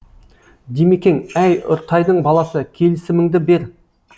димекең әй үртайдың баласы келісіміңді бер